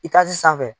I ka ji sanfɛ